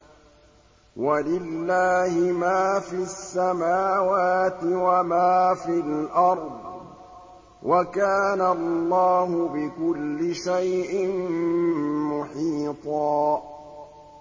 وَلِلَّهِ مَا فِي السَّمَاوَاتِ وَمَا فِي الْأَرْضِ ۚ وَكَانَ اللَّهُ بِكُلِّ شَيْءٍ مُّحِيطًا